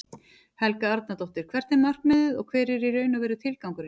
Helga Arnardóttir: Hvert er markmiðið og hver er í raun og veru tilgangurinn?